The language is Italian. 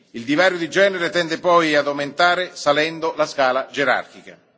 Il divario di genere tende poi ad aumentare salendo la scala gerarchica.